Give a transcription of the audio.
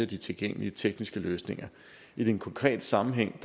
de tilgængelige tekniske løsninger i den konkrete sammenhæng